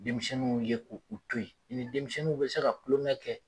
Denmisɛnninw ye k' u to yen, i ni denmisɛnww bɛ se ka tulonkɛ kɛ!